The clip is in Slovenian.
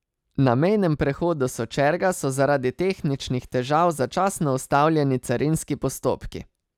Na mejnem prehodu Sočerga so zaradi tehničnih težav začasno ustavljeni carinski postopki.